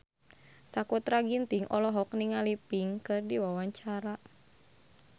Sakutra Ginting olohok ningali Pink keur diwawancara